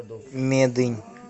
медынь